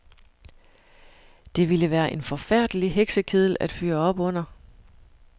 Det ville være en forfærdelig heksekedel at fyre op under.